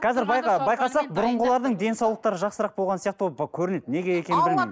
қазір байқасақ бұрынғылардың денсаулықтары жақсырақ болған сияқты ғой көрінеді неге екенін білмеймін